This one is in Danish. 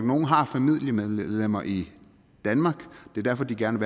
har familiemedlemmer i danmark og det derfor de gerne